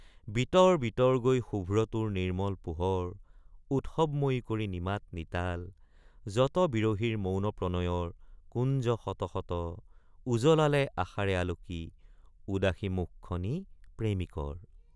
বিতৰ বিতৰগৈ শুভ্ৰ তোৰ নিৰ্ম্মল পোহৰ উৎসৱময়ী কৰি নিমাত নিতাল যত বিৰহীৰ মৌন প্ৰণয়ৰ কুঞ্জ শত শত উজলালে আশাৰে আলোকি উদাসী মুখ খনি প্ৰেমিকৰ।